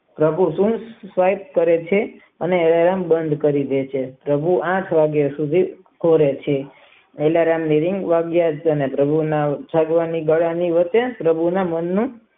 પ્રભુજન કાયક કરે છે અને અલાર્મ બન કરી દે છે પ્રભુ આઠ વાગ્યા સુધી રહે છે આલારામ ની રિંગ વાગ્યા કરે છે અને ભાઈ ના રૂપે પ્રભુ જી આવે છે.